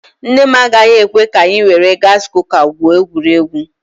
Nne m agaghị ekwe ka anyị were gaasi kuka gwuo egwuregwu.